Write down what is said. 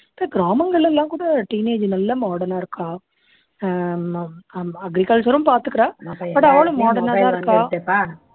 இப்போ கிராமங்கள்ல எல்லாம் கூட teenage நல்லா modern னா இருக்கா ஆஹ் agriculture ரும் பார்த்துக்கிறா but அவளும் modern னா தான் இருக்கா